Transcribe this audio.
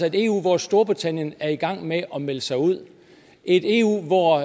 et eu hvor storbritannien er i gang med at melde sig ud et eu hvor